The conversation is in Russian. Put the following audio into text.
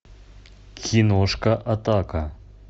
киношка атака